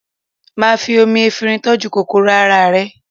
Máà fi omi efinrin tọ́jú kòkòrò ara rẹ